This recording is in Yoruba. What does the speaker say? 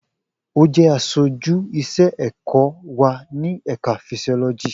O jẹ aṣoju iṣẹ-ẹkọ wa ni Ẹka Fisioloji.